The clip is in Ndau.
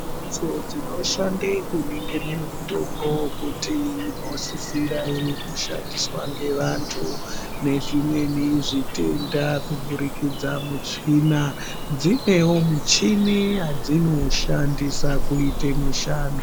Mbatso dzinoshande kuningire mutombo kuti inosisira ere kushandiswa ngevantu nezvimweni zvitenda kupfurukidza muchina dzinewo muchini yadzinoshandisa kuite mushando.